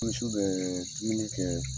su bɛ dumuni kɛ